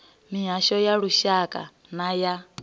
mihasho ya lushaka na ya